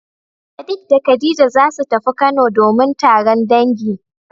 Sadik da khadija zasu tafi kano domin taron dangi.